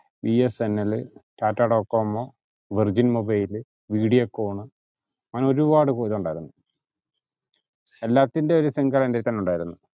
B S N L, Tata Docomo, Virgin Mobile, Videocon അങ്ങനെ ഒരുപാട് ഇണ്ടായിരുന്നു എല്ലാറ്റിന്റെയും ഒരു sim card എന്റയ്ത്തന്നെ ഉണ്ടാരുന്നു